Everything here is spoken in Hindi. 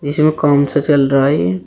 इसमें काम सा चल रहा है ये--